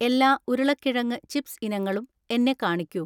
എല്ലാ ഉരുളക്കിഴങ്ങ് ചിപ്സ് ഇനങ്ങളും എന്നെ കാണിക്കൂ.